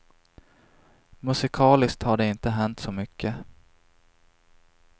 Musikaliskt har det inte hänt så mycket.